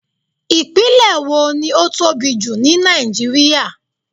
Ìpínlẹ̀ wo ni ó tóbi jù ní Nàìjíríà.